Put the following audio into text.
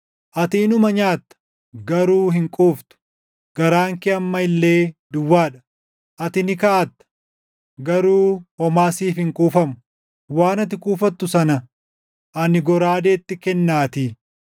Ati inuma nyaatta; garuu hin quuftu; garaan kee amma illee duwwaa dha. Ati ni kaaʼatta; garuu homaa siif hin kuufamu; waan ati kuufattu sana ani goraadeetti kennaatii.